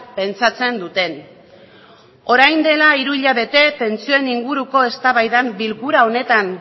pentsatzen duten orain dela hiru hilabete pentsioen inguruko eztabaidan bilkura honetan